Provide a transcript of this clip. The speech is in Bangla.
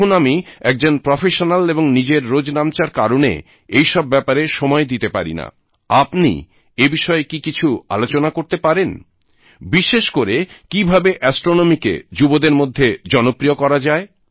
এখন আমি একজন প্রফেশনাল এবং নিজের রোজনামচার কারণে এই সব ব্যাপারে সময় দিতে পারি নাআপনি এই বিষয়ে কি কিছু আলোচনা করতে পারেন বিশেষ করে কীভাবে অ্যাস্ট্রোনমিকে যুবদের মধ্যে জনপ্রিয় করা যায়